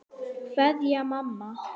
Kveðja, mamma.